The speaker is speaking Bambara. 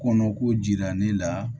Kɔnɔko jira ne la